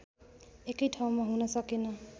एकै ठाउँमा हुन सकेन